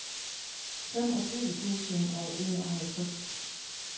femogtyve tusind og enoghalvtreds